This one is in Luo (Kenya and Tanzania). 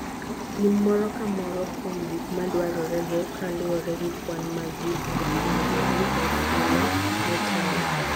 Pim moro ka moro kuom gik madwarorego kaluwore gi kwan mag gik mipuonjori e sula motelo.